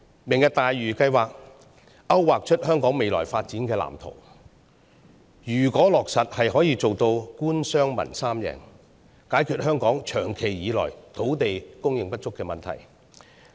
"明日大嶼"計劃勾劃出香港未來發展藍圖，如果落實，是可以做到官商民三贏，解決香港長久以來土地供應不足的問題。